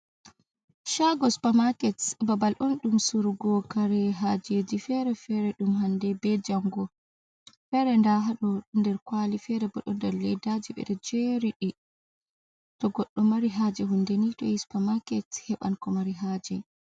Shago supamaaket babal on ɗum surugo kare hajeji fere fere ɗum hande be jango, fere nda haɗo nder kwali, fere ɓo ɗo ndar ledaji ɓeɗo jeriɗi to goɗɗo mari haje hundeni supamaaket heɓan ko mari haje.